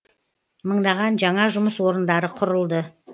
мыңдаған жаңа жұмыс орындары құрылды